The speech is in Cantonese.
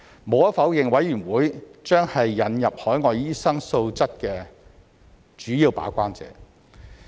無可否認，委員會將是引入海外醫生素質的主要把關者。